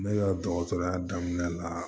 Ne ka dɔgɔtɔrɔya daminɛ la